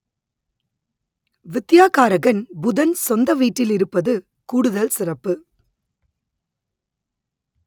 வித்யாகாரகன் புதன் சொந்த வீட்டில் இருப்பது கூடுதல் சிறப்பு